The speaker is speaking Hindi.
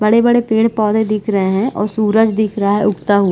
बड़े बड़े पेड़ पौधे दिख रहै है और सूरज दिख रहा है उगता हुआ।